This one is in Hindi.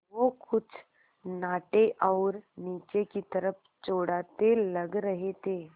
वो कुछ नाटे और नीचे की तरफ़ चौड़ाते लग रहे थे